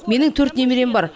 менің төрт немерем бар